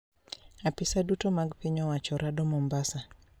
Apisa duto mag piny owacho rado Mombasa